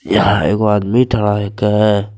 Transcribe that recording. यहाँ एगो आदमी खड़ा हकै।